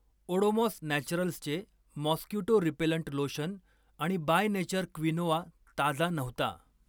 ओडोमॉस नॅचरल्सचे mosquito repellent lotion आणि by nature quinoa ताजा नव्हता.